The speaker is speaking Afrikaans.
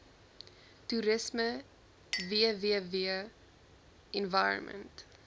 toerisme www environment